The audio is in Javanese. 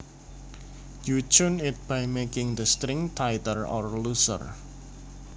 You tune it by making the strings tighter or looser